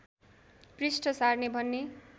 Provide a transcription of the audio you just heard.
पृष्ठ सार्ने भन्ने